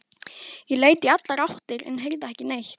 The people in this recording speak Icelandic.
Ég leit í allar áttir en heyrði ekki neitt.